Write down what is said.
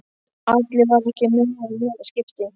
Alli var ekki með honum í þetta skipti.